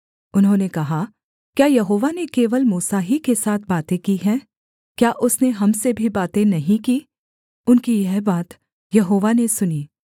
उन्होंने कहा क्या यहोवा ने केवल मूसा ही के साथ बातें की हैं क्या उसने हम से भी बातें नहीं की उनकी यह बात यहोवा ने सुनी